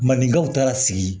Mandenkaw taara sigi